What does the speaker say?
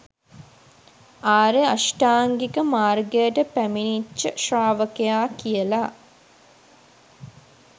ආර්ය අෂ්ටාංගික මාර්ගයට පැමිණිච්ච ශ්‍රාවකයා කියල.